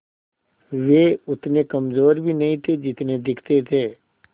वे उतने कमज़ोर भी नहीं थे जितने दिखते थे